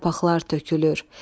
Yarpaqlar tökülür.